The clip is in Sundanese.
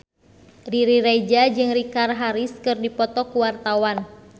Riri Reza jeung Richard Harris keur dipoto ku wartawan